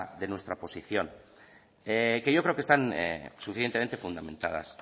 de nuestra posición que yo creo que están suficientemente fundamentadas